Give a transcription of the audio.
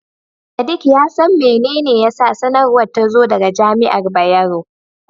Sadik ya san mene ne yasa sanarwar ta zo daga Jami'ar Bayero.